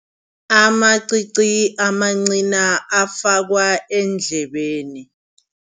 Amacici, amancina afakwa eendlebeni.